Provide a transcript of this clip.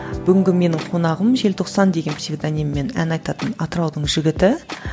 бүгінгі менің қонағым желтоқсан деген псевдониммен ән айтатын атыраудың жігіті